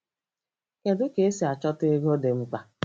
Kedu ka esi achọta ego dị mkpa?